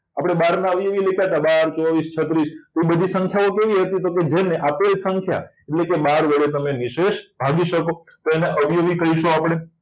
આપણે બહારના અવયવી લેતા તા બાર ચોવીસ છત્રીસ એ બધી સંખ્યાઓ કેવી હતી કે જેને આપેલ સંખ્યા એટલે કે બાર વડે નિશેષ ભાગી શકો તેના અવયવી કહીશું આપણે